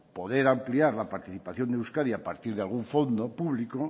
poder ampliar la participación de euskadi a partir de algún fondo público